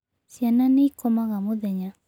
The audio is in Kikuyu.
Ciana nĩ ikomaga mũthenya.